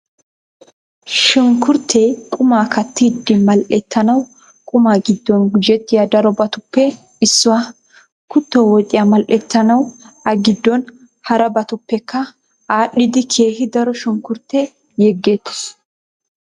Shunkkurttee qumaa kattiiddi mal'ettanawu qumaa giddon gujettiya darobatuppe issuwaa. Kutto woxiyaa mal'ettanawu a giddon harabatuppekka aadhdhidi keehi daro shunkkurttee yegettees.